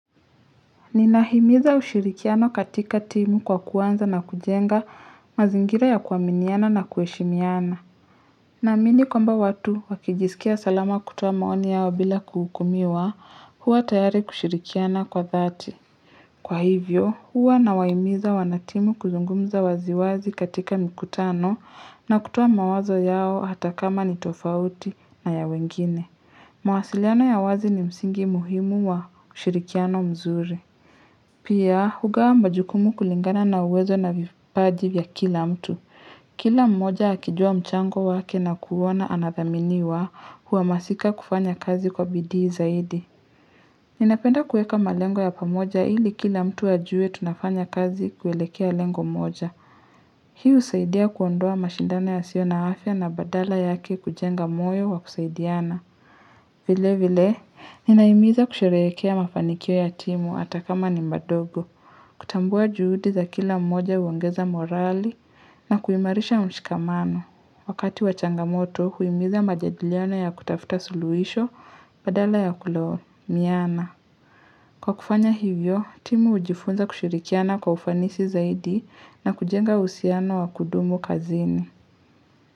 Ninahimiza ushirikiano katika timu kwa kuwanza na kujenga mazingira ya kuaminiana na kueshimiana. Naamini kwamba watu wakijisikia salama kutoa maoni yao bila kuhukumiwa huwa tayari kushirikiana kwa thati. Kwa hivyo huwa na wahimiza wanatimu kuzungumza waziwazi katika mikutano na kutoa mawazo yao hata kama ni tofauti na ya wengine. Mawasiliano ya wazi ni msingi muhimu wa ushirikiano mzuri. Pia, hugawa majukumu kulingana na uwezo na vipaji vya kila mtu. Kila mmoja akijua mchango wake na kuona anathaminiwa huhamasika kufanya kazi kwa bidii zaidi. Ninapenda kueka malengo ya pamoja ili kila mtu ajue tunafanya kazi kuwelekea lengo moja. Hii husaidia kuondoa mashindano ya sio na afya na badala yake kujenga moyo wa kusaidiana. Vile vile, ninaimiza kusherehekea mafanikio ya timu ata kama ni ma dogo. Kutambua juhudi za kila mmoja huongeza morali na kuimarisha mshikamano. Wakati wachangamoto, huimiza majadiliano ya kutafuta suluisho badala ya kulaumiana. Kwa kufanya hivyo, timu hujifunza kushirikiana kwa ufanisi zaidi na kujenga uhusiano wa kudumu kazini.